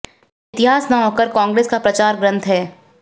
यह इतिहास न होकर कांग्रेस का प्रचार ग्रंथ है